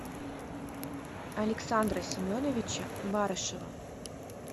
александра семеновича барышева